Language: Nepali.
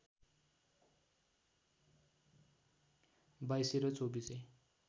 बाईसे र चौबीसे